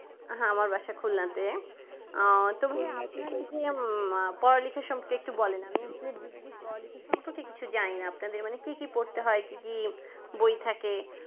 আহ আমার বাসা খুলনাতে আহ তো আপনার কি আর পড়ালেখা সম্পর্কে একটু বলেন আমি আসলে আমি আসলে ডিগ্রীর পড়াশোনা সম্পর্কে কিছু জানি না আপনাদের মানে কি কি পড়তে হয় কি কি বই থাকে